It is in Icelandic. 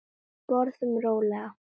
Borðum rólega.